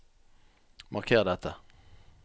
Marker dette